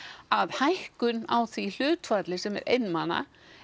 að hækkun á því hlutfalli sem er einmana